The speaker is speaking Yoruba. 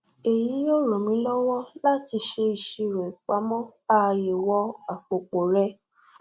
èyí yóò ran mi lọwọ láti ṣe ìṣirò ìpamọ ààyèwọ àpòpò rẹ